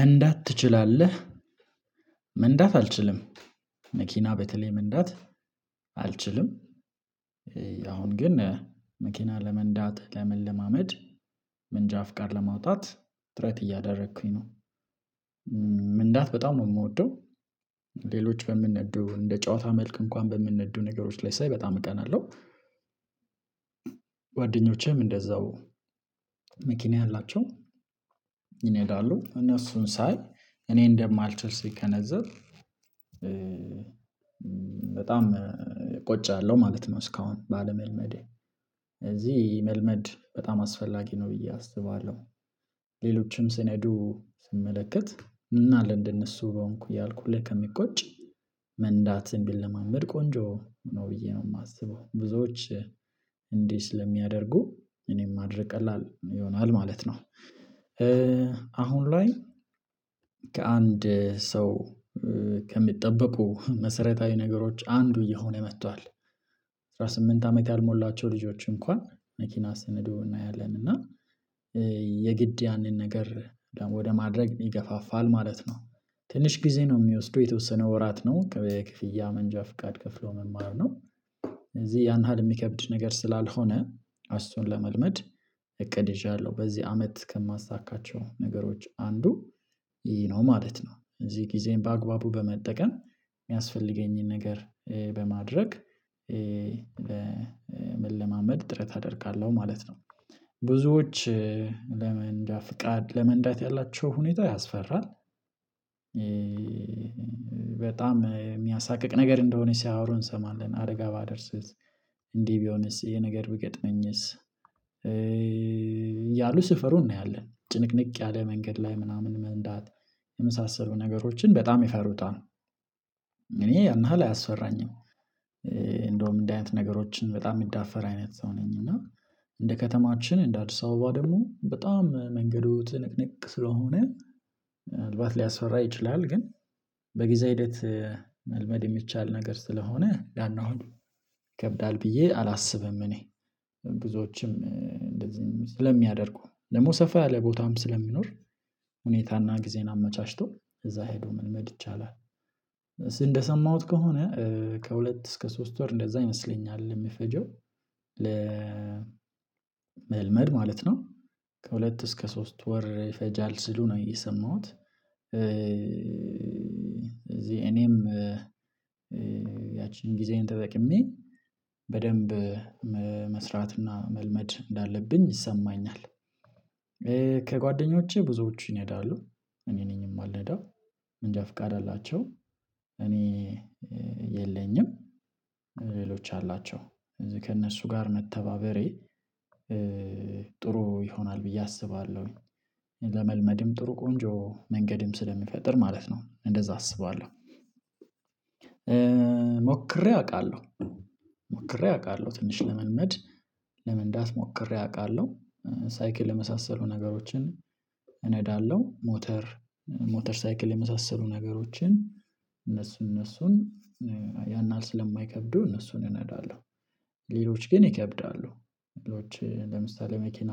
መንዳት ትችላለህ መንዳት አልችልም መኪና በተለይ መንዳት አልችልም አሁን ግን መኪና ለመንዳት ለመለማመድ ምንጃ ፍቃድ ለማውጣት ጥረት እያደረኩኝ ነው። መንዳት በጣም ነው የምወደው። ሌሎች በሚነዱ እንደ ጨዋታ መልክ እንኳን በሚነዱ ነገሮች ላይ ሳይ በጣም እቀናለሁ። ጓደኞቼም እንደዛው መኪና ያላቸው ይነዳሉ እነሱን ሳይ እኔ እንደማልችል ስገነዘብ በጣም እቆጫለሁ ማለት ነው። እስካሁን ባለመልመዴ እዚህ መልመድ በጣም አስፈላጊ ነው ብዬ አስባለሁ። ሌሎችም ሲነዱ ስመለከት ምን አለ እንደነሱ በሆንኩ እያልኩ ሀሌ ከሚቆጭ መንዳትን ቢለማመድ ቆንጆ ነው ብዬ ነው የማስበው። ብዙዎች እንዲህ ስለሚያደርጉ እኔም ማድረግ ቀላል ይሆናል ማለት ነው። አሁን ላይ ከአንድ ሰው ከሚጠበቁ መሰረታዊ ነገሮች አንዱ እየሆነ መጥቷል። አስራ ስምንት አመት ያልሞላቸው ልጆች እንኳን መኪና ሲነዱ እናያለን እና የግድ ያንን ነገር ደግሞ ወደ ማድረግ ይገፋፋል ማለት ነው። ትንሽ ጊዜ ነው የሚወስደው የተወሰነ ወራት ነው ከፍያ ክፍያ መንጃ ፍቃድ ከፍሎ መማር ነው። ስለዚህ ያን ያህል የሚከብድ ነገር ስላልሆነ እሱነ ለመልመድ እቅድ ይዣለሁ በዚህ አመት ከማሳካቸው ነገሮች አንዱ ይሄ ነው ማለት ነው። እዚህ ጊዜም በአግባቡ በመጠቀም የሚያስፈልገኝን ነገር በማድረግ መለማመድ ጥረት አደርጋለሁ ማለት ነው። ብዙዎች ለመንዳት ፍቃድ ለመንዳት ያላቸው ሁኔታ ያስፈራል። በጣም የሚያሳቅቅ ነገር እንደሆነ ሲያወሩ እንሰማለን አደጋ ባደርስስ እንዲህ ቢሆንስ ይሄ ነገር ቢገጥመኝስ? ያሉ ሲፈሩ እናያለን ጭንቅንቅ ያለ መንገድ ላይ ምናምን መንዳት የመሳሰሉ ነገሮችን በጣም ይፈሩታል። እኔ ያን ያሀል አልፈራኝም እንደውም እንዲ አይነት ነገሮችን በጣም የምዳፈር አይነት ሰው ነኝ እና። እንደ ከተማችን እንደ አዲስ አበባ ደግሞ በጣም መንገዱ ትንቅንቅ ስለሆነ ምንአልባት ሊያስፈራ ይችላል ግን በጊዜ ሂደት መልመድ የሚቻል ነገር ስለሆነ የናሀል ይከብዳል ብዬ አላስብም። እኔ ብዙዎችም እንደዚህ ስለሚያደርጉ ደግሞ ሰፋ ያለ ቦታም ስለሚኖር ሁኔታና ጊዜን አመቻችቶ እዛ ሄዶ መልመድ ይቻላል። እንደሰማሁት ከሆነ ከሁለት እስከ ሶስት ወር እንደዛ ይመስለኛል የምፈጀው ለ መልመድ ማለት ነው። ከሁለት እስከ ሶስት ወር ይፈጃል ሲሉ ነው የሰማሁት። እኔም ያቺን ጊዜዬን ተጠቅሜ በደንብ መስራትና መልመድ እንዳለብኝ ይሰማኛል። ከጓደኞቼ ብዙዎቹ ይነዳሉ እኔ ነኝ የማልነዳው መንጃ ፍቃድ አላቸው እኔ የለኝም ሌሎች አላቸው ከእነሱ ጋር መተባበሬ ጥሩ ይሆናል ብዬ አስባለሁ። ለመልመድም ጥሩ ቆንጆ መንገድም ስለሚፈጥር ማለት ነው እንደዛ አስባለሁ። ሞክሬ አውቃለሁ ሞክሬ አውቃለሁ ትንሽ ለመልመድ ለመንዳት ሞክሬ አውቃለሁ። ሳይክል የመሳሰሉ ነገሮችን እነዳለሁ ሞተር ሞተር ሳይክል የመሳሰሉ ነገሮችን እነሱን እነሱን ያን አል ስለማይከብዱ እነሱን እነዳለሁ። ሌሎች ግን ይከብዳሉ ሌሎች ለምሳሌ መኪና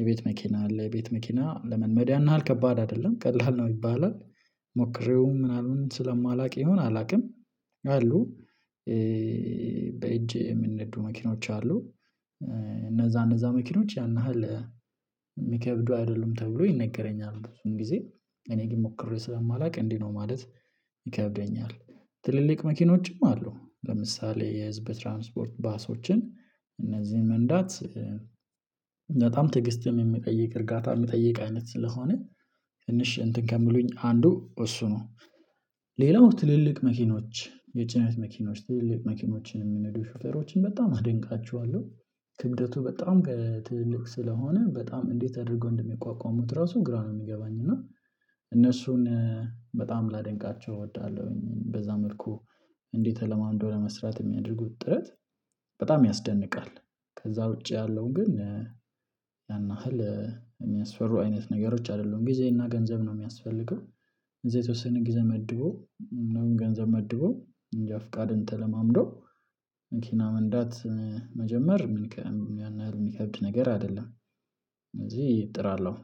የቤት መኪና አለ የቤት መኪና ለመልመድ ያን ያህል ከባድ አይደለም ቀላል ነው ይባላል። ሞክሬውም ምናምን ስለማላውቅ ይሁን አላውቅም። አሉ በእጄ የሚነዱ መኪኖች አሉ። እነዛ እነዛ መኪኖች ያን ያህል የሚከብዱ አይደሉም ተብሎ ይነገረኛል ብዙም ጊዜ እኔ ግን ሞክሬ ስለማላውቅ እንዲህ ነው ማለት ይከብደኛል። ትልልቅ መኪኖችም አሉ ለምሳሌ የህዝብ ትራንስፖርት ባሶችን እነዚህን መንዳት በጣም ትዕግስትም የሚጠይቅ እርጋታ የሚጠይቅ አይነት ስለሆነ ትንሽ እንትን ከሚሉኝ አንዱ እሱ ነው። ሌላው ትልልቅ መኪኖች የጭነት መኪኖች ትልልቅ መኪኖችን የሚነዱ ሹፈሮችን በጣም አደንቃቸዋለሁ። ክብደቱ በጣም ትልልቅ ስለሆነ በጣም እንዴት አድርገው እንደሚቋቋሙት ራሱ ግራ ነው የሚገባኝ እና እነሱን በጣም ላደንቃቸው እወዳለሁኝ በዛ መልኩ እንዴት ተለማምዶ ለመስራት የሚያደርጉት ጥረት በጣም ያስደንቃል። ከዛ ውጪ ያለው ግን ያን ያህል የሚያስፈሩ አይነት ነገሮች አይደሉም ጊዜ እና ገንዘብ ነው የሚያስፈልገው። እዚህ የተወሰነ ጊዜ መድቦ ምናምን ገንዘብ መድቦ መንጃ ፍቃድን ተለማምዶ መኪና መንዳት መጀመር የሚከብድ ነገር አይደለም። ስለዚህ እጥራለሁ